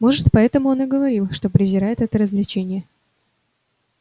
может поэтому он и говорил что презирает это развлечение